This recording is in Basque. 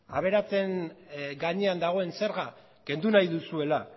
aberatsen gainean dagoen zerga kendu nahi duzuela